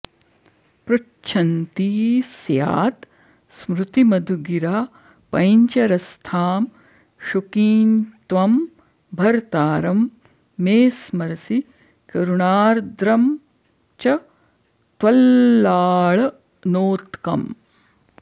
पृच्छन्ती स्यात् स्मृतिमधुगिरा पञ्जरस्थां शुकीं त्वं भर्तारं मे स्मरसि करुणार्द्रं च त्वल्लाळनोत्कम्